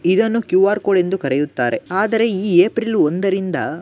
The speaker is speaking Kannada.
ಇದನ್ನು ಕ್ಯೂ ಆರ್ ಕೋಡ್ ಎಂದು ಕರೆಯುತ್ತಾರೆ ಆದರೆ ಈ ಏಪ್ರಿಲ್ ಒಂದರಿಂದ --